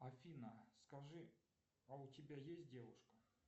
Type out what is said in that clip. афина скажи а у тебя есть девушка